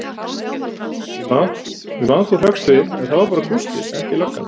Ég man þú hrökkst við, en það var bara Gústi, ekki löggan.